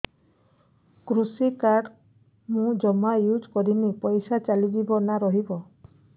କୃଷି କାର୍ଡ ମୁଁ ଜମା ୟୁଜ଼ କରିନି ପଇସା ଚାଲିଯିବ ନା ରହିବ